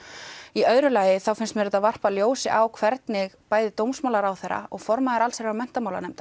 í öðru lagi þá finnst mér þetta varpa ljósi á hvernig bæði dómsmálaráðherra og formaður allsherjar og menntamálanefndar